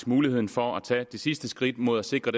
muligheden for at tage det sidste skridt mod at sikre